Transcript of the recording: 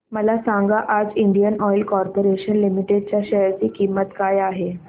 मला सांगा आज इंडियन ऑइल कॉर्पोरेशन लिमिटेड च्या शेअर ची किंमत काय आहे